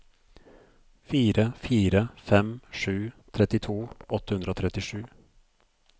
fire fire fem sju trettito åtte hundre og trettisju